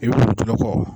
I bɛ wusulan kɔ